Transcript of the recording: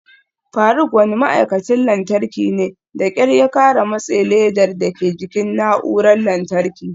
Faruk wani ma'aikacin lantarki ne, da kyar ya kara matse ledar dake jikin na'urar lantarki.